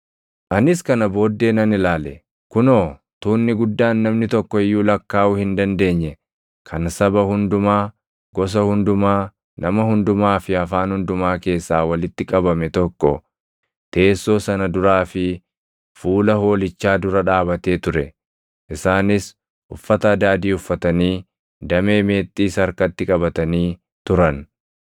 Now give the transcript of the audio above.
Anis kana booddee nan ilaale; kunoo, tuunni guddaan namni tokko iyyuu lakkaaʼuu hin dandeenye kan saba hundumaa, gosa hundumaa, nama hundumaa fi afaan hundumaa keessaa walitti qabame tokko teessoo sana duraa fi fuula Hoolichaa dura dhaabatee ture. Isaanis uffata adaadii uffatanii, damee meexxiis harkatti qabatanii turan.